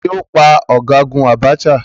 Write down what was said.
Taàní ó pa ọ̀gágun Abacha?